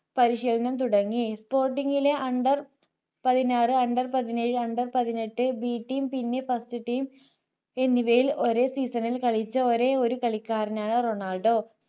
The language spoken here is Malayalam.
പരിശീലനം തുടങ്ങി spotting ലെ under പതിനാറു under പതിനേഴു under പതിനെട്ട് bteam പിന്നെ firstteam എന്നിവയിൽ ഒരേ season ൽ കളിച്ച ഒരേയൊരു കളിക്കാരനാണ് റൊണാൾഡോ